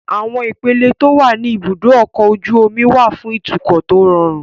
Àwọn ipele tó wà ní ibùdó ọkọ̀ ojú omi wà fún ìtúkọ̀ tó rọrùn